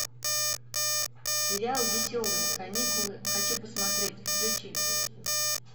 сериал веселые каникулы хочу посмотреть включи